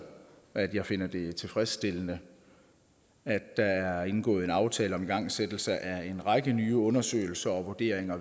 at jeg finder det tilfredsstillende at der er indgået en aftale om igangsættelse af en række nye undersøgelser og vurderinger